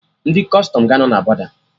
Ndị Kọstọm ga-anọ na bọda